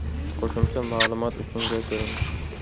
Qo‘shimcha ma’lumot uchun ga kiring.